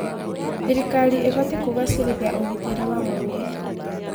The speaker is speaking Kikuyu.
Thirikari ĩbatiĩ kũgacĩrithia ũgitĩri wa mũingĩ.